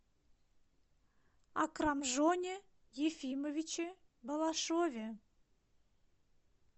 акрамжоне ефимовиче балашове